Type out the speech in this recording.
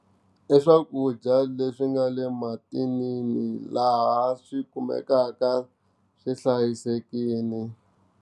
I swakudya leswi nga le mathinini laha swi kumekaka swi hlayisekile.